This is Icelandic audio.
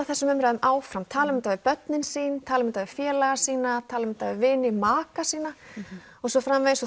þessum umræðum áfram tala um þetta við börnin sín tala um þetta við félaga sína tala um þetta við vini maka sína og svo framvegis og